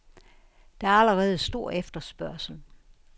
Der er allerede stor efterspørgsel.